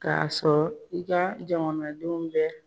Ka sɔrɔ i ka jamanadenw bɛ